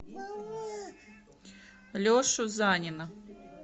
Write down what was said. лешу занина